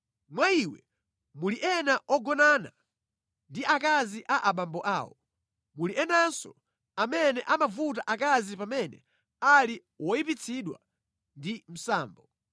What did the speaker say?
Mwa iwe muli ena ogonana ndi akazi a abambo awo, muli enanso amene amavuta akazi pamene ali woyipitsidwa ndi msambo.